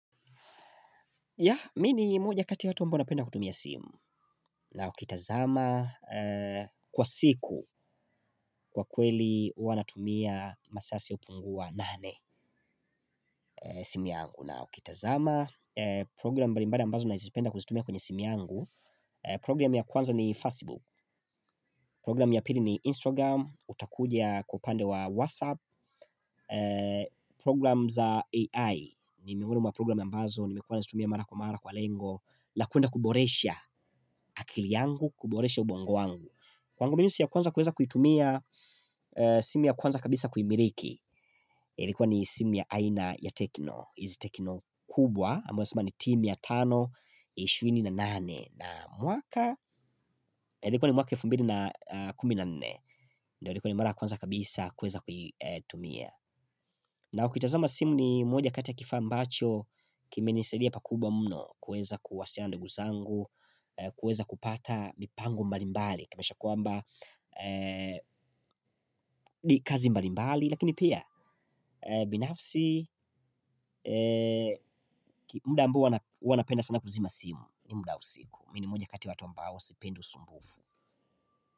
Ya, mi ni mmoja kati watu ambao wanapenda kutumia simu na ukitazama kwa siku kwa kweli hua natumia masaa yasiyopungua nane simu yangu na ukitazama. Program mbali mbali ambazo nazipenda kuzitumia kwenye simu yangu. Program ya kwanza ni Facebook. Program ya pili ni Instagram. Utakuja kwa upande wa WhatsApp. Program za AI. Nimiweli mwa program ya mbazo. Nimekuwa nazitumia mara kwa mara kwa lengo. La kuenda kuboresha akili yangu, kuboresha ubongo wangu kwangu minusu ya kwanza kuweza kuitumia simu ya kwanza kabisa kuimiliki ilikuwa ni simu ya aina ya tekno, izi tekno kubwa amuwa sima ni timi ya tano, ishirini na nane na mwaka, ilikuwa ni mwaka elfu mbili na kumi na nne ndio ilikuwa ni mara kwanza kabisa kuweza kuitumia na ukitazama simu ni moja kati ya kifaa ambacho kimenisaidia pakubwa mno kuweza kuwasiliana na ndugu zangu kueza kupata mipango mbalimbali kumaanisha kwamba ni kazi mbalimbali lakini pia binafsi muda ambao huwa na huwanapenda sana kuzima simu ni muda usiku mi ni mmoja kati watu ambao sipendi usumbufu.